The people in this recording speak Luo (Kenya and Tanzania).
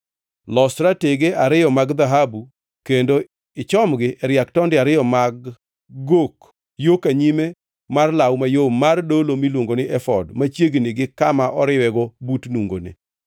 Los ratege ariyo mag dhahabu kendo ichomgi e riak tonde ariyo mag gok yo ka nyime mar law mayom mar dolo miluongo ni efod machiegni gi kama oriwego but nungone.